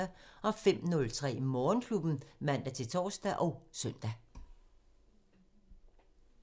05:03: Morgenklubben (man-tor og søn)